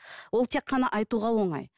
ол тек қана айтуға оңай